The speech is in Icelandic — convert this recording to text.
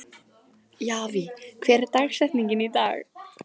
Javí, hver er dagsetningin í dag?